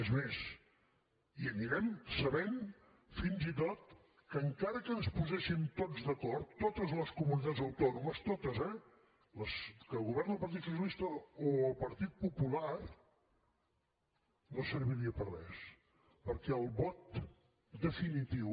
és més hi anirem sabent fins i tot que encara que ens poséssim tots d’acord totes les comunitats autònomes totes eh les que governa el partit socialista o el partit popular no serviria per a res perquè el vot definitiu